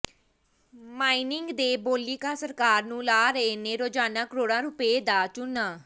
mining ਦੇ ਬੋਲੀਕਾਰ ਸਰਕਾਰ ਨੂੰ ਲਾ ਰਹੇ ਨੇ ਰੋਜ਼ਾਨਾ ਕਰੋੜਾਂ ਰੁਪਏ ਦਾ ਚੂਨਾ